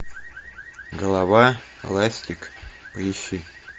голова ластик поищи